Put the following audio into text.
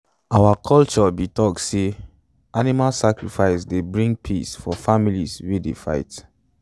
our culture be talk say animal sacrifice dey bring peace for families wey dey fight.